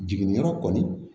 Jiginniyɔrɔ kɔni